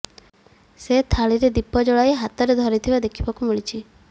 ସେ ଥାଳିରେ ଦୀପ ଜଳାଇ ହାତରେ ଧରିଥିବା ଦେଖିବାକୁ ମିଳିଛି